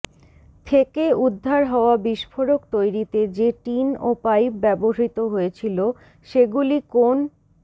থেকে উদ্ধার হওয়া বিস্ফোরক তৈরিতে যে টিন ও পাইপ ব্যবহৃত হয়েছিল সেগুলি কোন